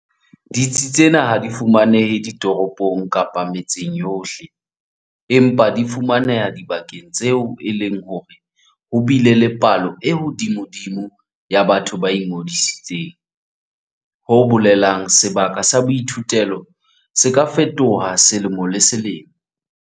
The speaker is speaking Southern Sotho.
Ditsi tsena ha di fumanehe ditoropong kapa metseng yohle, empa di fumaneha dibakeng tseo e leng hore ho bile le palo e hodimodimo ya batho ba ingodisitseng, ho bolelang sebaka sa boithutelo se ka fetoha selemo le selemo.